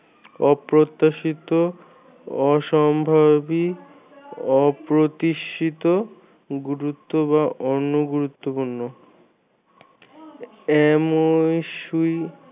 অপ্রত্যাশিত অসম্ভাবি অপ্রতিষ্ঠিত গুরুত্ব বা অনগুরুত্বপূর্ণ এমন